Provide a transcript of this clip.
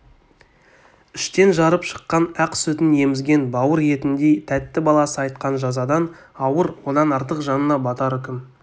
іштен жарып шыққан ақ сүтін емізген бауыр етіндей тәтті баласы айтқан жазадан ауыр одан артық жанына батар үкім